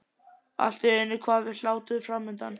En allt í einu kvað við hlátur framundan.